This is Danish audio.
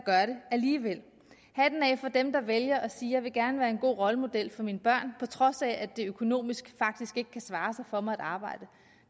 alligevel hatten af for dem der vælger at sige jeg vil gerne være en god rollemodel for mine børn på trods af at det økonomisk faktisk ikke kan svare sig for mig at arbejde